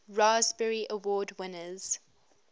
raspberry award winners